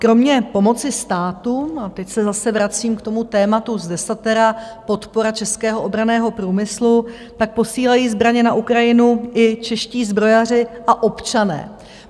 Kromě pomoci státu - a teď se zase vracím k tomu tématu z desatera, podpora českého obranného průmyslu - tak posílají zbraně na Ukrajinu i čeští zbrojaři a občané.